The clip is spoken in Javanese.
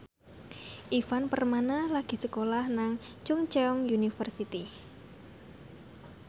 Ivan Permana lagi sekolah nang Chungceong University